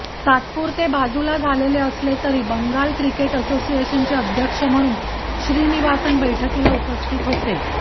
तात्पुरते बाजूला झालेले असले तरी बंगाल क्रिकेट असोसिएशनचे अध्यक्ष म्हणून श्रीनिवासन बैठकीला उपस्थित होते